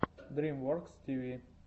дрим воркс ти ви